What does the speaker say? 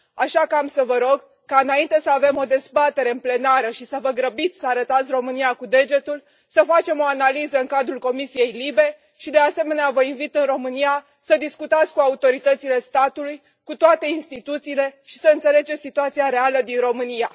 Așa că vă voi ruga ca, înainte să avem o dezbatere în plenară și să vă grăbiți să arătați România cu degetul, să facem o analiză în cadrul Comisiei LIBE și, de asemenea, vă invit în România să discutați cu autoritățile statului, cu toate instituțiile și să înțelegeți situația reală din România.